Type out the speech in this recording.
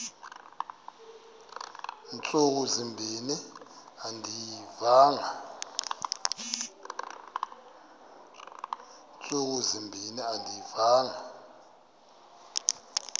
ntsuku zimbin andiyivanga